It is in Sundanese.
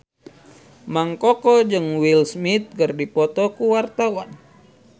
Mang Koko jeung Will Smith keur dipoto ku wartawan